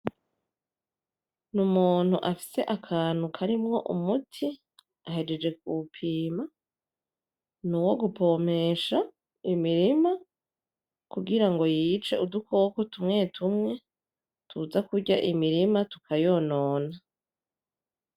N'umuntu afise akantu karimwo umuti, ahejeje kuwupima, nuwo gupomesha imirima kugira ngo yice udukoko tumwe tumwe tuza kurya imirima tukayonona.